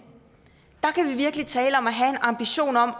virkelig tale om at have en ambition om